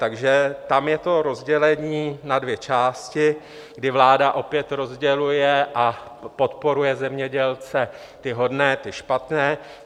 Takže tam je to rozdělení na dvě části, kdy vláda opět rozděluje a podporuje zemědělce - ty hodné, ty špatné.